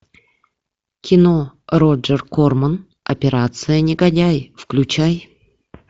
кино роджер корман операция негодяй включай